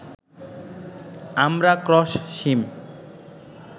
আমরা ক্রস সিম